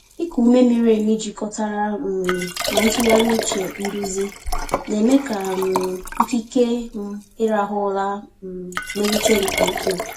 Ịkụ ume miri emi jikọtara um na ntụgharị uche nduzi na-eme ka um ikike m ịrahụ ụra um melite nke ukwuu.